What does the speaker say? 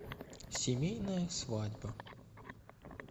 семейная свадьба